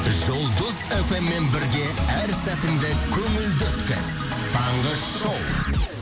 жұлдыз фм мен бірге әр сәтіңді көңілді өткіз таңғы шоу